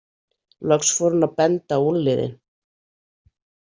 Loks fór hún að benda á úlnliðinn.